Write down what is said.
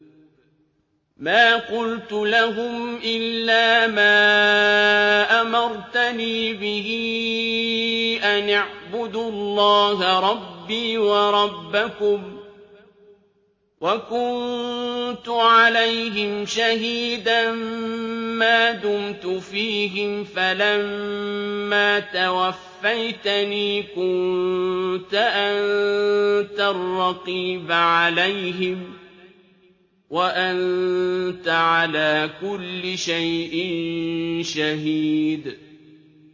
مَا قُلْتُ لَهُمْ إِلَّا مَا أَمَرْتَنِي بِهِ أَنِ اعْبُدُوا اللَّهَ رَبِّي وَرَبَّكُمْ ۚ وَكُنتُ عَلَيْهِمْ شَهِيدًا مَّا دُمْتُ فِيهِمْ ۖ فَلَمَّا تَوَفَّيْتَنِي كُنتَ أَنتَ الرَّقِيبَ عَلَيْهِمْ ۚ وَأَنتَ عَلَىٰ كُلِّ شَيْءٍ شَهِيدٌ